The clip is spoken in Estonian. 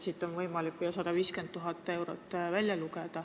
Siit on võimalik välja lugeda, et need on 150 000 eurot.